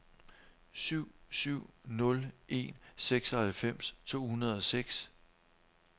syv syv nul en seksoghalvfems to hundrede og seks